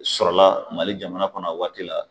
Sɔrɔla mali jamana kɔnɔ a waati la